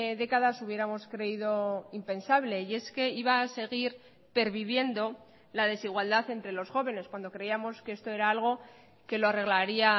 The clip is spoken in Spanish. décadas hubiéramos creído impensable y es que iba a seguir perviviendo la desigualdad entre los jóvenes cuando creíamos que esto era algo que lo arreglaría